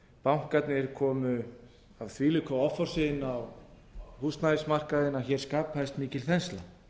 bankarnir komu af þvílíku offorsi inn á húsnæðismarkaðinn að hér skapaðist mikil þensla